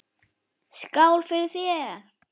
Skál fyrir þér!